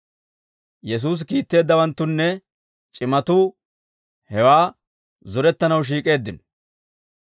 Yesuusi kiitteeddawanttunne c'imatuu hewaa zorettanaw shiik'eeddino.